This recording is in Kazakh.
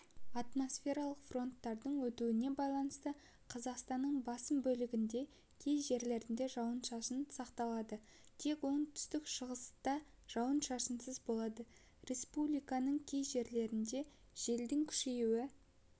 атмосфералық фронттардың өтуіне байланысты қазақстанның басым бөлігінде кей жерлерде жауын-шашын сақталады тек оңтүстік-шығыста жауын-шашынсыз болады республиканың кей жерлерінде желдің күшеюі